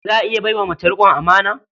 Za a iya bai wa mace riƙon amana?